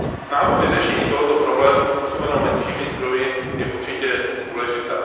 Snaha o vyřešení tohoto problému způsobovaného menšími zdroji je určitě důležitá.